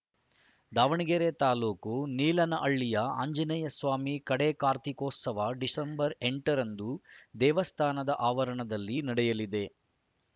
ದಾವಣಗೆರೆ ತಾಲೂಕು ನೀಲಾನಹಳ್ಳಿಯ ಆಂಜನೇಯ ಸ್ವಾಮಿಯ ಕಡೇ ಕಾರ್ತಿಕೋತ್ಸವ ಡಿಸೆಂಬರ್ ಎಂಟ ರಂದು ದೇವಸ್ಥಾನದ ಆವರಣದಲ್ಲಿ ನಡೆಯಲಿದೆ